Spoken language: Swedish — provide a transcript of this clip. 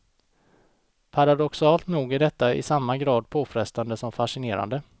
Paradoxalt nog är detta i samma grad påfrestande som fascinerande.